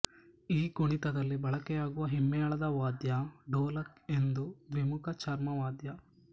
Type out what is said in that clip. ಈ ಕುಣಿತದಲ್ಲಿ ಬಳಕೆಯಾಗುವ ಹಿಮ್ಮೇಳದ ವಾದ್ಯ ಡೋಲಕ್ ಒಂದು ದ್ವಿಮುಖ ಚರ್ಮವಾದ್ಯ